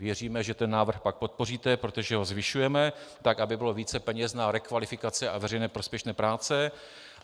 Věříme, že ten návrh pak podpoříte, protože ho zvyšujeme, tak aby bylo více peněz na rekvalifikaci a veřejně prospěšné práce.